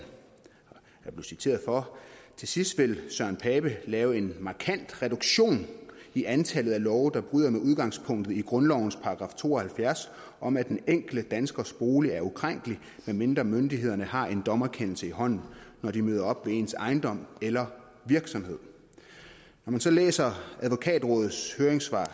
citeret for til sidst vil søren pape lave en markant reduktion i antallet af love der bryder med udgangspunktet i grundlovens § to og halvfjerds om at den enkelte danskers bolig er ukrænkelig medmindre myndighederne har en dommerkendelse i hånden når de møder op ved ens ejendom eller virksomhed når man så læser advokatrådets høringssvar